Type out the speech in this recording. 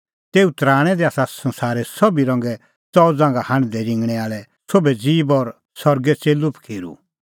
तेऊ तराणैं दी आसा संसारे सोभी रंगे च़ऊ ज़ांघा हांढदै रिंगणैं आल़ै सोभै ज़ीब और सरगे च़ेल्लू पखीरू